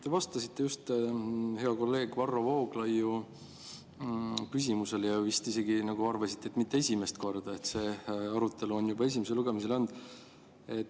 Te vastasite just hea kolleegi Varro Vooglaiu küsimusele ja vist isegi arvasite, et mitte esimest korda, sest selline arutelu on juba esimesel lugemisel olnud.